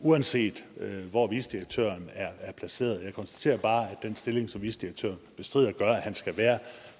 uanset hvor vicedirektøren er placeret jeg konstaterer bare at den stilling som vicedirektøren bestrider gør at han skal være